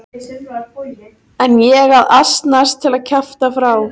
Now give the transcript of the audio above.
En ég að asnast til að kjafta frá.